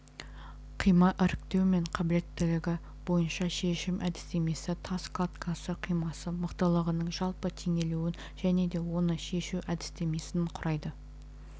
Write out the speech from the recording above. қима іріктеу мен қабілеттілігі бойынша шешім әдістемесі тас кладкасы қимасы мықтылығының жалпы теңелуін және де оны шешу әдістемесін құрайды